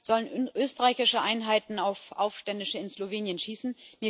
Oder sollen österreichische Einheiten auf Aufständische in Slowenien schießen?